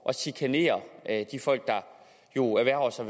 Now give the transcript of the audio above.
at chikanere de folk der jo erhverver sig